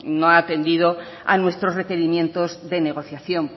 no ha atendido a nuestros requerimientos de negociación